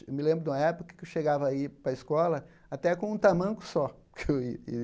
Me lembro de uma época que eu chegava a ir para a escola até com um tamanco só. Que eu ia